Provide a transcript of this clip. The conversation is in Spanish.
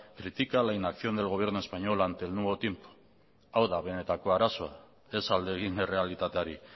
critica la inacción del gobierno español ante el nuevo tiempo hau da benetako arazoa ez alde egin errealitateari